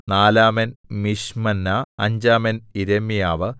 നാലാമൻ മിശ്മന്നാ അഞ്ചാമൻ യിരെമ്യാവ്